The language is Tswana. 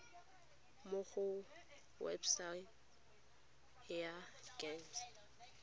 mo go website ya gems